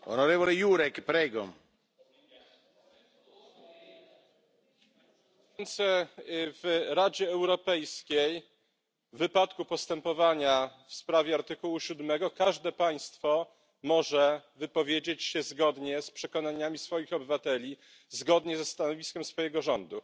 Panie Przewodniczący! W Radzie Europejskiej w wypadku postępowania w sprawie artykułu siódmego każde państwo może wypowiedzieć się zgodnie z przekonaniami swoich obywateli, zgodnie ze stanowiskiem swojego rządu.